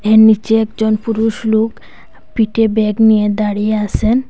নীচে একজন পুরুষ লোক পিঠে ব্যাগ নিয়ে দাঁড়িয়ে আসেন।